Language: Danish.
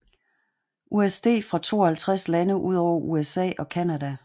USD fra 52 lande udover USA og Canada